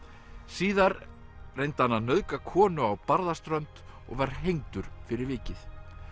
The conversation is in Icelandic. síðar reyndi hann að nauðga konu á Barðaströnd og var hengdur fyrir vikið